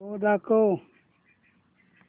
show दाखव